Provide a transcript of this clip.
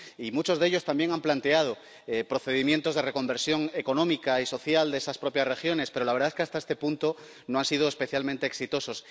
Y muchos de ellos también han planteado procedimientos de reconversión económica y social de esas propias regiones, pero la verdad es que hasta este punto no han sido especialmente exitosos.